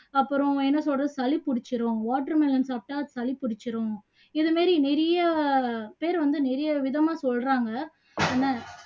அப்பறம் என்ன சொல்ற சளி புடிச்சுடும் water melon சாப்பிட்டா சளி புடிச்சுடும் இது மாதிரி நிறைய பேரு வந்து நிறைய விதமா சொல்றாங்க என்ன